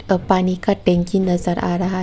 का पानी का टैंकी नज़र आ रहा है।